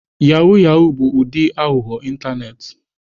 Yahoo yahoo bụ ụdị aghụghọ ịntanetị.